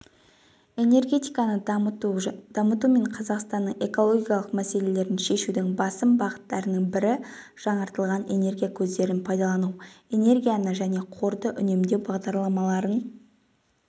энергетиканы дамыту мен қазақстанның экологиялық мәселелерін шешудің басым бағыттарының бірі жаңартылатын энергия көздерін пайдалану энергияны және қорды үнемдеу бағдарламаларын